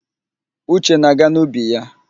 Uche na-aga n'ubi ya.